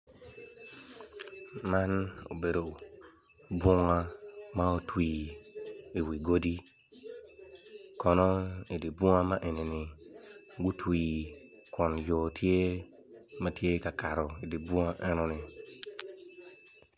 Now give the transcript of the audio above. Man obedo bunga ma otwii iwi godi kono idi bunga enini gutwi kun yo tye ma tye ka kato idi bunga enoni.